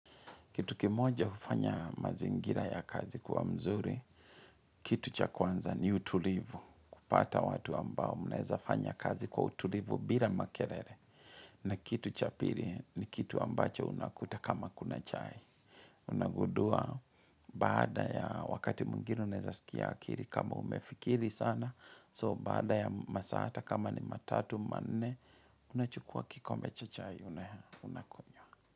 Kitu kimoja hufanya mazingira ya kazi kuwa mzuri, kitu cha kwanza ni utulivu, kupata watu ambao mnaeza fanya kazi kwa utulivu bila makerere. Na kitu cha pili ni kitu ambacho unakuta kama kuna chai. Unagundua baada ya wakati mwingine unaeza sikia akiri kama umefikiri sana, so baada ya masaa hata kama ni matatu, manne, unachukua kikombe cha chai unakunywa.